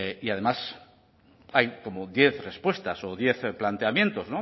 y además hay como diez respuestas o diez planteamientos